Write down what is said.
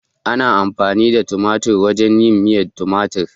Ana amfani da tumatir wajen yin miyan tumatir